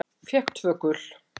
Fékk tvö gul.